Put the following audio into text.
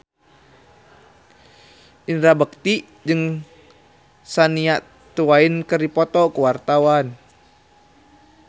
Indra Bekti jeung Shania Twain keur dipoto ku wartawan